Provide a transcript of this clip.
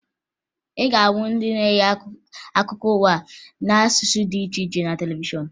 Ị ga-ahụ ndị na-enye akụkọ ụwa n'asụsụ dị iche iche na televishọn